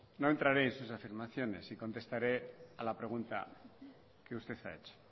no entraré en sus afirmaciones y contestaré a la pregu nta que usted ha hecho